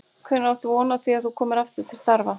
Hvenær áttu von á því að þú komir aftur til starfa?